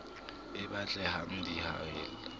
e batle hang di haella